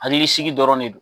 Hakili sigi dɔrɔn ne don.